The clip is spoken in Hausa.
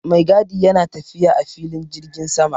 Maigadi yana tafiya a filin jirgin sama